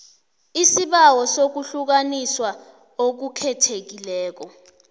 isibawo sokuhlukaniswa okukhethekileko